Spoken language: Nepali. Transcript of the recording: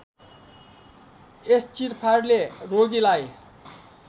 यस चिरफारले रोगीलाई